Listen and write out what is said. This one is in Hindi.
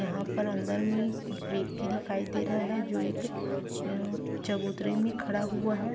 यहाँ पर अंदर में व्यक्ति की दिखाई दे रहा है जो एक चबूतरी में खड़ा हुआ है।